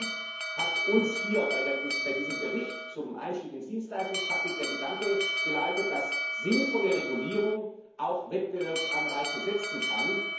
Deswegen hat uns hier bei diesem Bericht zum Einstieg ins Dienstleistungspaket der Gedanke geleitet, dass sinnvolle Regulierung auch Wettbewerbsanreize setzen kann.